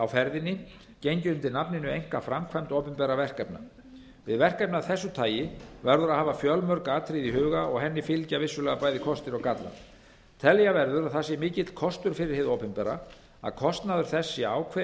á ferðinni gengið undir nafninu einkaframkvæmd opinberra verkefna við verkefni af þessu tagi verður að hafa fjölmörg atriði í huga og henni fylgja vissulega bæði kostir og gallar telja verður að það sé mikill kostur fyrir hið opinbera að kostnaður þess sé ákveðinn